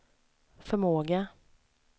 förmåga